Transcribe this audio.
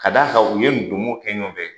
Ka d'a kan u ye ndomon kɛ ɲɔgɔn fɛ.